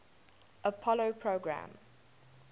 apollo program